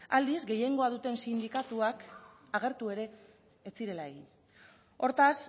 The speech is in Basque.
aldiz gehiengoa duten sindikatuak agertu ere ez zirela egin hortaz